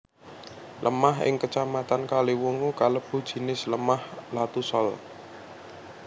Lemah ing Kacamatan Kaliwungu kalebu jinis lemah Latusol